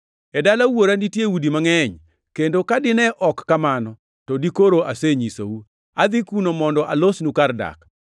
E dala Wuora nitiere udi mangʼeny, kendo ka dine ok en kamano, to dikoro asenyisou. Adhi kuno mondo alosnu kar dak.